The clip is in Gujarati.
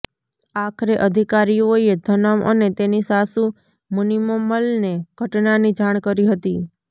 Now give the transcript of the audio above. આખરે અધિકારીઓએ ધનમ અને તેની સાસુ મુનિમમલને ઘટનાની જાણ કરી હતી